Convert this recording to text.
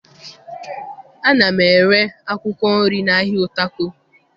Ana m ere akwụkwọ nri n'ahịa Utako